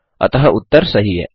अतः उत्तर सही है